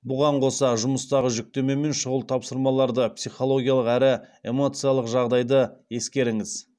бұған қоса жұмыстағы жүктеме мен шұғыл тапсырмаларды психологиялық әрі эмоциялық жағдайды ескеріңіз